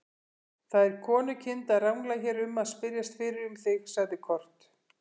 Það er konukind að rangla hér um að spyrjast fyrir um þig, sagði Kort.